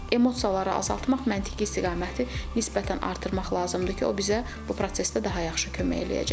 Emosiyaları azaltmaq, məntiqi istiqaməti nisbətən artırmaq lazımdır ki, o bizə bu prosesdə daha yaxşı kömək eləyəcək.